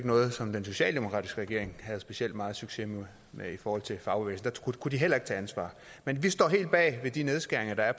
noget som den socialdemokratiske regering havde specielt meget succes med i forhold til fagbevægelsen kunne de heller ikke tage ansvar men vi står helt bag de nedskæringer der er